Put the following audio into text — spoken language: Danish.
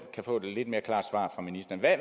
kan få et lidt mere klart svar fra ministeren hvad